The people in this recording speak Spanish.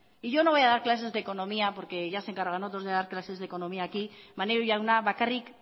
y yo no voy a dar clases de economía porque ya se encargan otros de dar clases de economía aquí maneiro jauna bakarrik